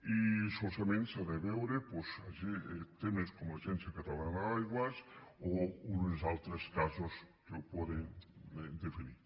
i solament s’han de veure doncs temes com l’agència catalana de l’aigua o uns altres casos que ho poden definir